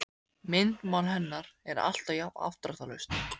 Myndmál hennar er alltaf mjög afdráttarlaust.